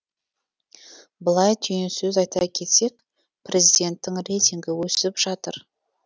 былай түйінсөз айта кетсек президенттің рейтингі өсіп жатыр